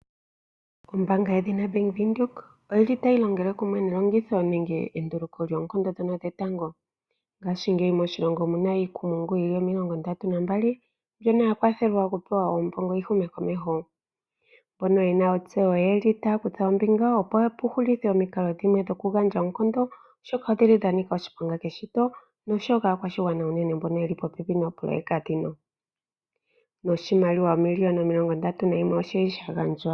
Ombaanga yedhina Bank Windhoek oyi li tayi longele kumwe nelongitho nenge nenduluko lyoonkondo ndhono dhetango. Ngaashingeyi moshilongo omu na oopoloyeka omilongondatu nambali ndhono dha kwathelwa okupewa oombono, opo yi hume komeho. Mbono ye na ontseyo otaya kutha ombinga, opo ku hulithwe omikali dhimwe noonkondo, oshoka odha nika oshiponga keshito nosho wo kaakwashigwana mbono ye li popepi noopoloyeka ndhino. Oshimaliwa shoomiliyona omilongondatu nayimwe osha gandjwa.